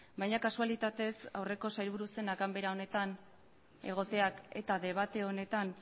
baina kasualitatez aurreko sailburu zenak ganbera honetan egoteak eta debate honetan